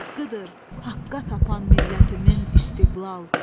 Haqqıdır haqqqa tapan millətimin istiqlal.